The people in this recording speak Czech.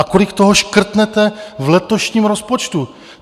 A kolik toho škrtnete v letošním rozpočtu?